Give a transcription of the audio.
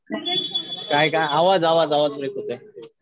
काय काय आवाज आवाज ब्रेक होतोय.